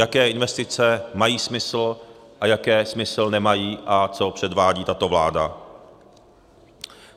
Jaké investice mají smysl a jaké smysl nemají a co předvádí tato vláda.